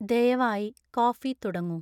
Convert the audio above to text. ദയവായി കോഫി തുടങ്ങൂ